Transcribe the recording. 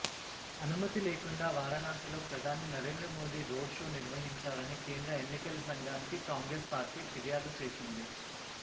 అనుమతి లేకుండా వారణాసిలో ప్రధాని నరేంద్రమోదీ రోడ్ షో నిర్వహించారని కేంద్ర ఎన్నికల సంఘానికి కాంగ్రెస్ పార్టీ ఫిర్యాదు చేసింది